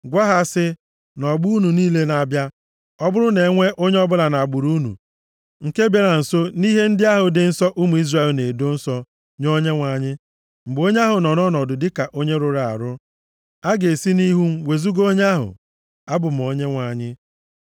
“Gwa ha sị, ‘Nʼọgbọ unu niile na-abịa, ọ bụrụ na enwee onye ọbụla nʼagbụrụ unu nke bịara nso nʼihe ndị ahụ dị nsọ ụmụ Izrel na-edo nsọ nye Onyenwe anyị, mgbe onye ahụ nọ ọnọdụ dịka onye rụrụ arụ, a ga-esi nʼihu m wezuga onye ahụ. Abụ m Onyenwe anyị.